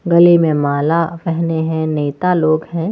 गले में माला पहने हैं नेता लोग हैं।